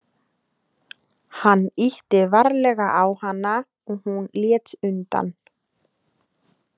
Hann ýtti varlega á hana og hún lét undan.